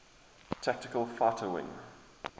tactical fighter wing